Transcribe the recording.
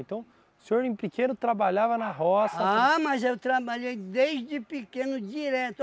Então, o senhor em pequeno trabalhava na roça... Ah, mas eu trabalhei desde pequeno, direto.